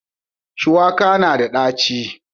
shuwaka na da ɗaci